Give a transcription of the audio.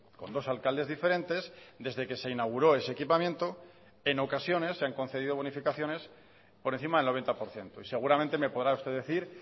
con dos alcaldes diferentes desde que se inauguró ese equipamiento en ocasiones se han concedido bonificaciones por encima del noventa por ciento y seguramente me podrá usted decir